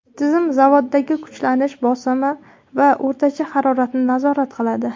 Tizim zavoddagi kuchlanish, bosim va o‘rtacha haroratni nazorat qiladi.